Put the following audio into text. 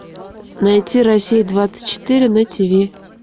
найти россия двадцать четыре на тиви